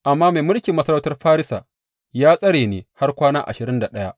Amma mai mulkin masarautar Farisa ya tsare ni har kwana ashirin da ɗaya.